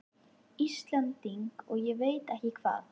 Íslending og ég veit ekki hvað!